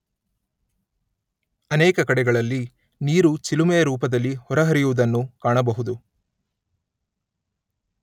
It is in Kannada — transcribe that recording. ಅನೇಕ ಕಡೆಗಳಲ್ಲಿ ನೀರು ಚಿಲುಮೆಯ ರೂಪದಲ್ಲಿ ಹೊರಹರಿಯುವುದನ್ನು ಕಾಣಬಹುದು.